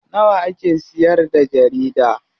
Nawa ake siyarda jarida?